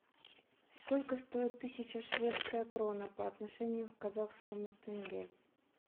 сколько стоит тысяча шведская крона по отношению к казахскому тенге